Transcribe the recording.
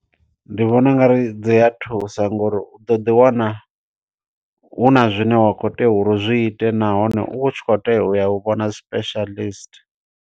Ndi vhona ungari dzi ya thusa ngo uri, u ḓo ḓi wana huna zwine wa kho tea uri u zwi ite, nahone u tshi kho tea u ya u vhona specialist.